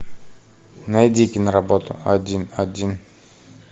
найди киноработу один один